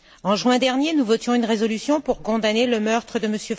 En juin dernier, nous votions une résolution pour condamner le meurtre de M.